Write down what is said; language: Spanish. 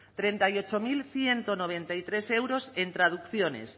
treinta y ocho mil ciento noventa y tres euros en traducciones